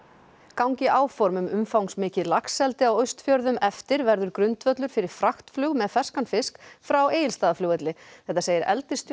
gangi áform um umfangsmikið laxeldi á Austfjörðum eftir verður grundvöllur fyrir fraktflug með ferskan fisk frá Egilsstaðaflugvelli þetta segir